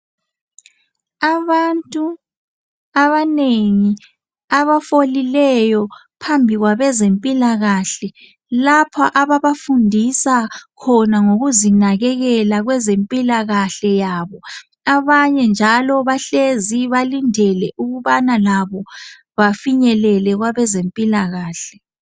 Abantu abanengi abafolileyo phambi kwabezempilakahle lapha ababafundisa khona ngokuzinakekela kwezempilakahle yabo. Abanye njalo bahlezi balindele ukuba labo bafinyelele kwabezempilakahle .